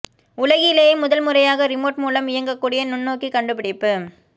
உலகிலேயே முதல் முறையாக ரிமோட் மூலம் இயங்கக் கூடிய நுண்ணோக்கி கண்டுபிடிப்பு